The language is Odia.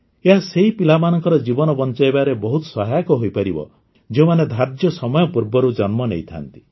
ଏହା ସେଇ ପିଲାମାନଙ୍କର ଜୀବନ ବଞ୍ଚାଇବାରେ ବହୁତ ସହାୟକ ହୋଇପାରିବ ଯେଉଁମାନେ ଧାର୍ଯ୍ୟ ସମୟ ପୂର୍ବରୁ ଜନ୍ମ ନେଇଥାନ୍ତି